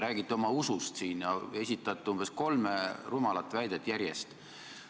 Räägite siin oma usust ja esitate umbes kolm rumalat väidet järjest.